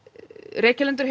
Reykjalundur